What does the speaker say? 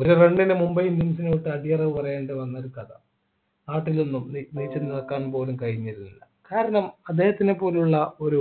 ഒരു run നു Mumbai indians ൻ്റെ അടുത്ത് അടിയറവു പറയേണ്ടി വന്നൊരു കഥ നാട്ടിൽ നിന്നും നിക്കാൻ പോലും കഴിഞ്ഞില്ല കാരണം അദ്ദേഹത്തിനെ പോലുള്ള ഒരു